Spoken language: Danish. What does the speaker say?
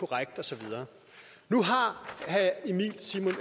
korrekt og så videre nu har